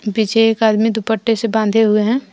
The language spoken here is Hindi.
पीछे एक आदमी दुपट्टे से बांधे हुए हैं।